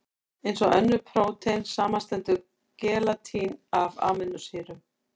Eins og önnur prótein, samanstendur gelatín af amínósýrum.